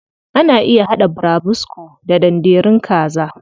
Ana iya haɗa burabusko da danderun kaza.